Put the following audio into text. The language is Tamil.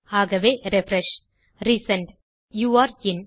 ஆகவே ரிஃப்ரெஷ் ரிசெண்ட் மற்றும்Youre இன்